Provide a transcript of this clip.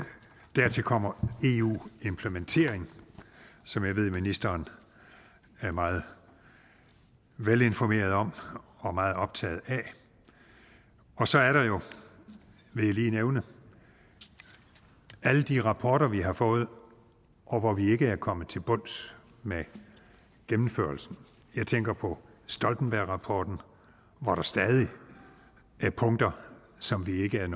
dertil kommer eu implementering som jeg ved ministeren er meget velinformeret om og meget optaget af så er der jo vil jeg lige nævne alle de rapporter vi har fået hvor vi ikke er kommet til bunds med gennemførelsen jeg tænker på stoltenbergrapporten hvor der stadig er punkter som vi ikke er